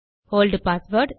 old password